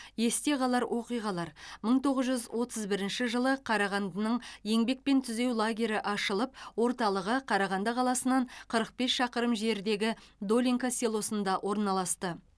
есте қалар оқиғалар мың тоғыз жүз отыз бірінші жылы қарағандының еңбекпен түзеу лагері ашылып орталығы қарағанды қаласынан қырық бес шақырым жердегі долинка селосында орналасты